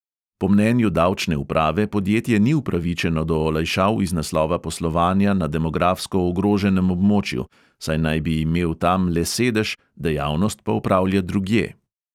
Po mnenju davčne uprave podjetje ni upravičeno do olajšav iz naslova poslovanja na demografsko ogroženem območju, saj naj bi imel tam le sedež, dejavnost pa opravlja drugje.